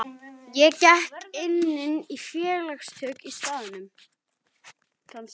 Ég gekk einnig í félagasamtök á staðnum.